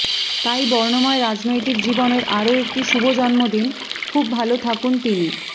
তাই বর্ণময় রাজনৈতিক জীবনের আরও একটি শুভ জন্মদিন খুব ভাল থাকুন তিনি